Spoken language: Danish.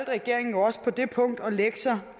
regeringen også på det punkt at lægge sig